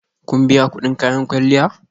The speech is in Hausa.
Kun biya kudin kayan kwalliya?